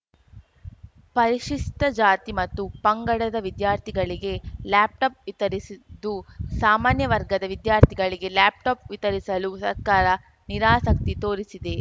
ಪರಿಶಿಷ್ಟಜಾತಿ ಮತ್ತು ಪಂಗಡದ ವಿದ್ಯಾರ್ಥಿಗಳಿಗೆ ಲ್ಯಾಪ್‌ಟಾಪ್‌ ವಿತರಿಸಿದ್ದು ಸಾಮಾನ್ಯ ವರ್ಗದ ವಿದ್ಯಾರ್ಥಿಗಳಿಗೆ ಲ್ಯಾಪ್‌ಟಾಪ್‌ ವಿತರಿಸಲು ಸರ್ಕಾರ ನಿರಾಸಕ್ತಿ ತೋರಿಸಿದೆ